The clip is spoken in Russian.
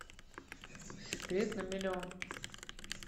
секрет на миллион